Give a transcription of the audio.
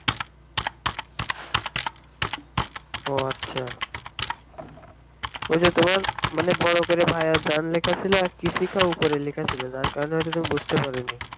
ও আছা ওই যে তোমার মানে বড়ো করে ভায়াজান লেখা ছিল আর kisi ka উপরে লেখা ছিল যার কারণে তুমি ওটা বুঝতে পারনি